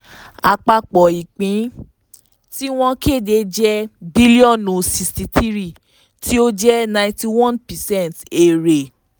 àpapọ̀ ìpín tí wọ́n kéde jẹ́ bílíọ̀nù 63 tí ó jẹ́ 91 percent èrè.